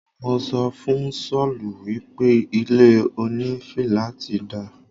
Mo sọ fún Sọ́ọ̀lù wípé ilé òní filaati dá